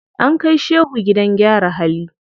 An kai shehu gidan gyara hali.